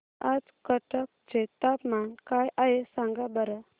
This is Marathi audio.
आज कटक चे तापमान काय आहे सांगा बरं